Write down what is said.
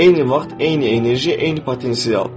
Eyni vaxt, eyni enerji, eyni potensial.